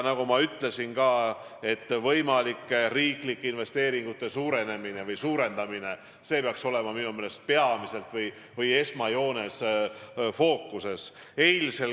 Nagu ma ütlesin, võimalike riiklike investeeringute suurendamine peaks olema minu meelest esmajoones fookuses.